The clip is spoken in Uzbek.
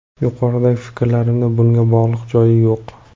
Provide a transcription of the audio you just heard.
Yuqoridagi fikrlarimni bunga bog‘liqlik joyi yo‘q.